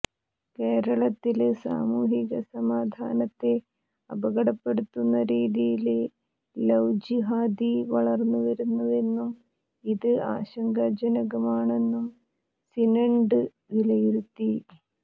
കേരളത്തില് സാമൂഹിക സമാധാനത്തെ അപകടപ്പെടുത്തുന്ന രീതിയില് ലൌ ജിഹാദി വളര്ന്നുവരുന്നുവെന്നും ഇത് ആശങ്കാജനകമാണെന്നും സിനഡ് വിലയിരുത്തി